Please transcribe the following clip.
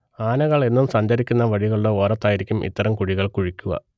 ആനകൾ എന്നും സഞ്ചരിക്കുന്ന വഴികളുടെ ഓരത്തായിരിക്കും ഇത്തരം കുഴികൾ കുഴിക്കുക